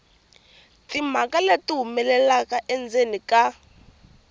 timhaka leti humelelaka endzeni ka